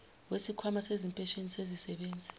wesikhwama sezimpesheni zezisebenzi